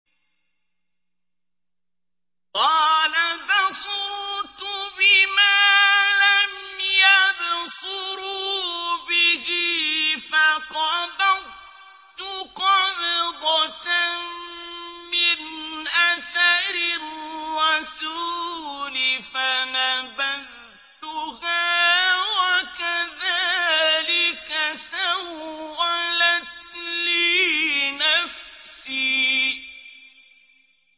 قَالَ بَصُرْتُ بِمَا لَمْ يَبْصُرُوا بِهِ فَقَبَضْتُ قَبْضَةً مِّنْ أَثَرِ الرَّسُولِ فَنَبَذْتُهَا وَكَذَٰلِكَ سَوَّلَتْ لِي نَفْسِي